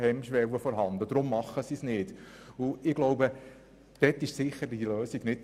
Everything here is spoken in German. Ich denke, dass diese Lektionen deshalb nicht die Lösung sind.